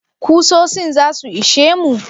Kusosin zasu ishe mu?